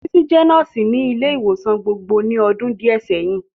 Títílayọ̀ jẹ́ nọ́ọ̀sì ní ilé ìwòsàn gbogbo ní ọdún díẹ̀ sẹ́yìn